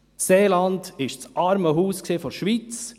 Das Seeland war das «Armenhaus der Schweiz»!